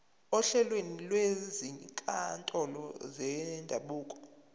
ohlelweni lwezinkantolo zendabuko